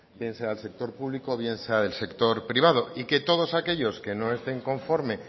bien sea del sector público bien sea del sector privado y que todos aquellos que no estén conforme